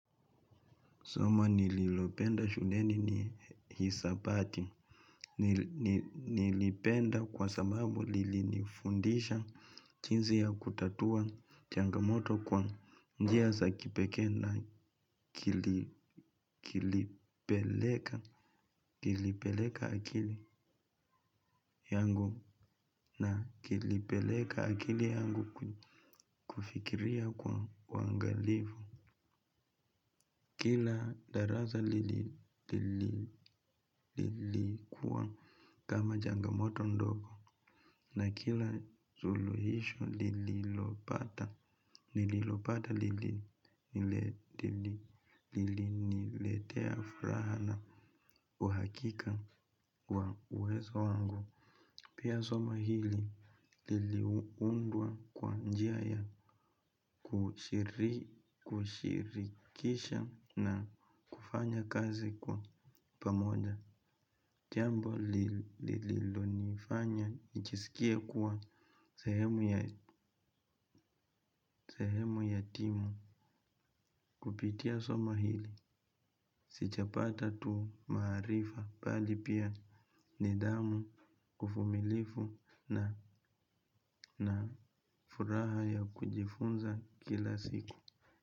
Somo nililopenda shuleni ni hisabati. Nilipenda kwa sababu lilinifundisha jinzi ya kutatua changamoto kwa njia za kipekee na kilipeleka akili yangu na kilipeleka akili yangu kufikiria kwa uangalivu. Kila darasa lilikuwa kama changamoto ndogo na kila suluisho lililopata lililopata liliniletea furaha na uhakika wa uwezo wangu. Pia somo hili liliundwa kwa njia ya kushirikisha na kufanya kazi kwa pamoja. Chambo lililonifanya nijisikie kuwa sehemu ya timu kupitia somo hili. Sijapata tu maarifa bali pia nidhamu ufumilivu na furaha ya kujifunza kila siku.